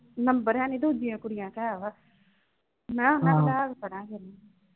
Number ਹੈ ਨਈਂ ਦੂਜੀਆਂ ਕੁੜੀਆਂ ਦਾ ਤਾਂ ਹੈਗਾ, ਮਖਾਂ ਹਾਂ ਕਰਾਂਗੇ।